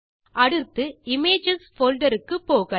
அடுத்து images folder க்கு போகலாம்